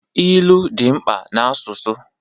Ilu dị oke mkpa na asụsụ